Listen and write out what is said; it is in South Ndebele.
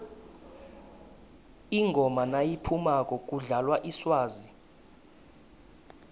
ingoma nayiphumako kudlalwa iswazi